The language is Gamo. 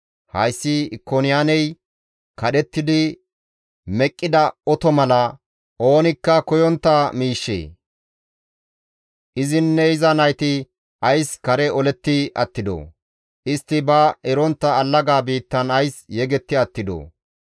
Hayssi Ikoniyaaney kadhettidi meqqida oto mala oonikka koyontta miishshe? Izinne iza nayti ays kare oletti attidoo? Istti ba erontta allaga biittan ays yegetti attidoo?